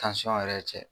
yɛrɛ cɛ